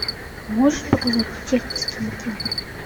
можешь показать чеховские мотивы